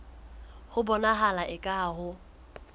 ho bonahala eka ha ho